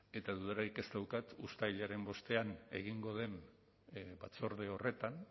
eta dudarik ez daukat uztailaren bostean egingo den batzorde horretan